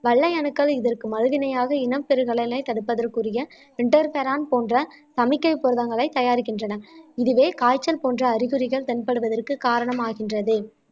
வெள்ளை அணுக்கள் இதற்கு மறு வினையாக இனம் பெருகலை தடுப்பதற்குரிய இன்டெர்பெரோன் போன்ற தயாரிக்கின்றன இதுவே காய்ச்சல் போன்ற அறிகுறிகள் தென்படுவதற்கு காரணமாகின்றது